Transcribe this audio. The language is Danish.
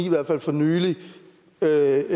i hvert fald for nylig været